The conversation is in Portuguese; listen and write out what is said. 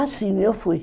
Ah, sim, eu fui.